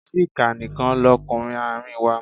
Chika nìkan lọkunrin àárín wa.